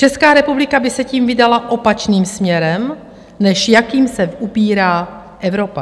Česká republika by se tím vydala opačným směrem, než jakým se ubírá Evropa.